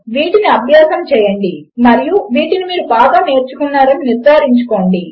వీటిని అభ్యాసము చేయండి మరియు వాటిని మీరు బాగా నేర్చుకున్నారని నిర్ధారించుకోండి